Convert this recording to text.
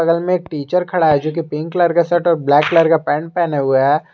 बगल में एक टीचर खड़ा है जोकि पिंक कलर का शर्ट और ब्लैक कलर का पैंट पहने हुए हैं।